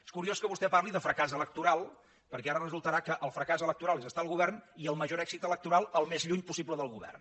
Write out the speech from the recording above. és curiós que vostè parli de fracàs electoral perquè ara resultarà que el fracàs electoral és estar al govern i el major èxit electoral al més lluny possible del govern